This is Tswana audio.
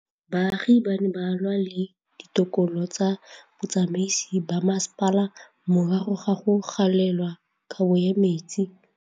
Baagi ba ne ba lwa le ditokolo tsa botsamaisi ba mmasepala morago ga go gaolelwa kabo metsi